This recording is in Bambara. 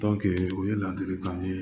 o ye ladilikan ye